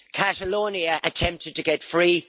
Catalonia attempted to get free.